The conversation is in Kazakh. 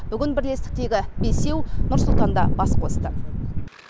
бүгін бірлестіктегі бесеу нұр сұлтанда бас қосты